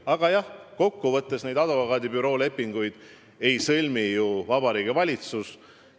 Aga jah, kokkuvõttes lepinguid advokaadibüroodega ei sõlmi ju Vabariigi Valitsus.